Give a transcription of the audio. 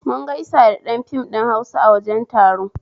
Mun gaisa da ɗan fim ɗin Hausa a wajen taro